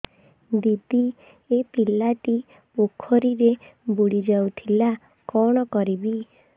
ଦିଦି ଏ ପିଲାଟି ପୋଖରୀରେ ବୁଡ଼ି ଯାଉଥିଲା କଣ କରିବି